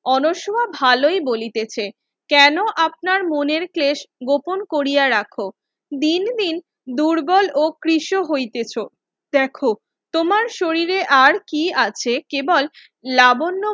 আনস্মা ভালোই বলিতেছে কেন আপনার মনের ক্রেস্ট গোপন কোরিয়া রাখো দিন দিন দুর্বল ও ক্রিস হইতেছ দেখো তোমার শরীরে আর কি আছে কেবল লাবণ্য